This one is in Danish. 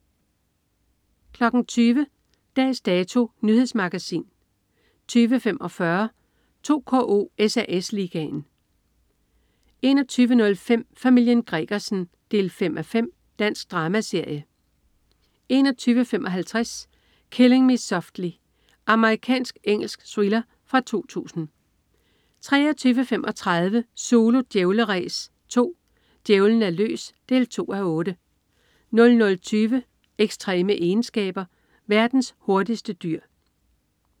20.00 Dags Dato. Nyhedsmagasin 20.45 2KO: SAS Ligaen 21.05 Familien Gregersen 5:5. Dansk dramaserie 21.55 Killing Me Softly. Amerikansk-engelsk thriller fra 2002 23.35 Zulu Djævleræs 2. Djævlen er løs 2:8 00.20 Ekstreme egenskaber. Verdens hurtigste dyr